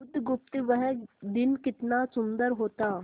बुधगुप्त वह दिन कितना सुंदर होता